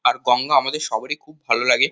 আর গঙ্গা আমাদের সবারই খুব ভালো লাগে।